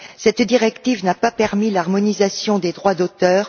Cette directive n'a pas permis l'harmonisation des droits d'auteur.